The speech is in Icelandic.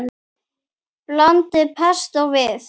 Blandið pestó við.